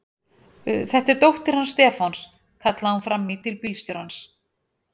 Þetta er dóttir hans Stefáns! kallaði hún fram í til bílstjórans.